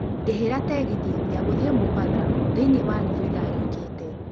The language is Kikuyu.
ndĩhĩra tegithĨ ya gũthiĩ mombatha thiniĩ ya nũthu ithaa rĩũkĩte